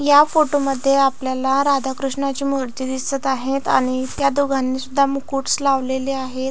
या फोटो मध्ये आपल्याला राधा कृष्णाची मुर्ती दिसत आहे आणि त्या दोघांनी सुद्धा मुकुटस लावलेले आहेत.